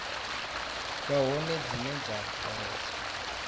vha hone dzine dza bveledza